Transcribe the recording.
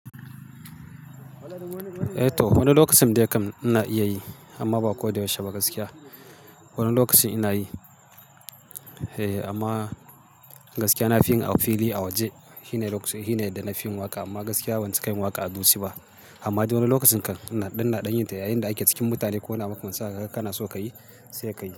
Eh to, wani lokacin dai kam ina iya yi amma ba ko da yaushe ba gaskiya. Wani lokacin ina yi eh amma gaskiya na fi yin a fili a waje, shi ne da na fi yin waƙa amma gaskiya ban ci kai waƙa a dutse ba. Ammadai wani lokacin kan ɗan na ɗan yin ta yayin da ake cikin mutane ko na makamancin kaga kana so ka yi sai ka yi.